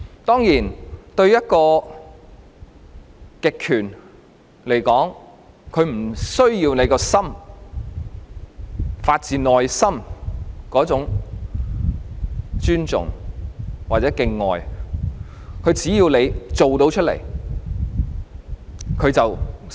當然，對一個極權來說，它不需要人民的心，發自內心的那種尊重或敬愛，它只要他們做出來，便算成功。